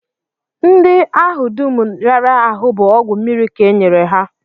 Ndị ahụ dum rịara ahụ bụ ọgwụ mmiri ka e nyere ha